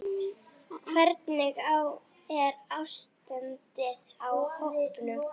Hvernig er ástandið á hópnum?